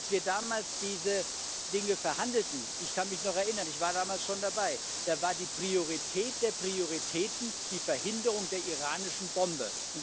Als wir damals diese Dinge verhandelten ich kann mich noch erinnern, ich war damals schon dabei da war die Priorität der Prioritäten die Verhinderung der iranischen Bombe.